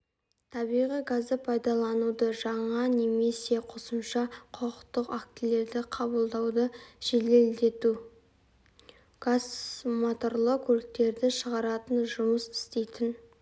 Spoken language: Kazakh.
табиғи газды пайдалануды жаңа немесе қосымша құқықтық актілерді қабылдауды жеделдету газмоторлы көліктерді шығаратын жұмыс істейтін